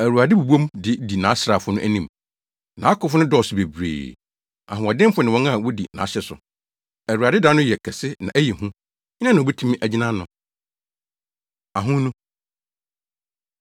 Awurade bobɔ mu de di nʼasraafo no anim. Nʼakofo no dɔɔso bebree, ahoɔdenfo ne wɔn a wodi nʼahyɛde so. Awurade da no yɛ kɛse na ɛyɛ hu; hena na obetumi agyina ano? Ahonu